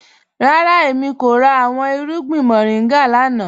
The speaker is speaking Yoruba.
Rárá, èmi kò rà awọn irùgbìn moringa lánà.